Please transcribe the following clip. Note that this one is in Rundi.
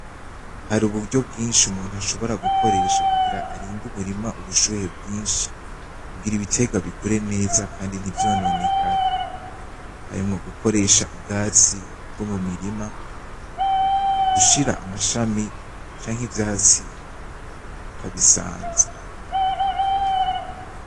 Hari uburyo bwinshi umuntu ashobora gukoresha kugira arinde umurima ubushuhe bwinshi kugira ibitegwa bikure neza kandi ntivyononekare , harimwo gukoresha ubwatsi bwo mu mirima, gushira amashami canke ivyatsi bakabisanza.